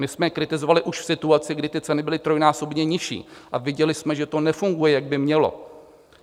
My jsme je kritizovali už v situaci, kdy ty ceny byly trojnásobně nižší, a viděli jsme, že to nefunguje, jak by mělo.